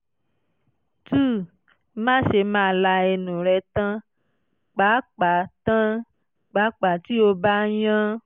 two má ṣe máa la ẹnu rẹ tán pàápàá tán pàápàá tí o bá ń yán